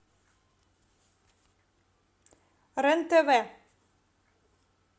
рен тв